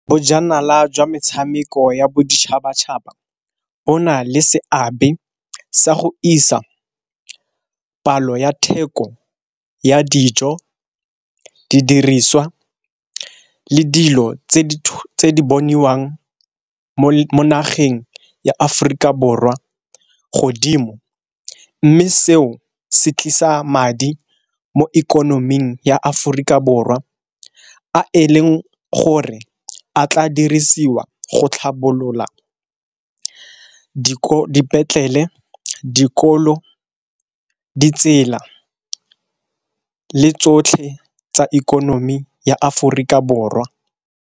Bojanala jwa metshameko ya boditšhabatšhaba bo na le seabe sa go isa palo ya theko ya dijo, di diriswa, le dilo tse di bontshiwang mo nageng ya Aforika Borwa godimo. Mme seo se tlisa madi mo ikonoming ya Aforika Borwa, a e leng gore a tla di dirisiwa go tlhabolola dipetlele, dikolo, ditsela le tsotlhe tsa ikonomi ya Aforika Borwa.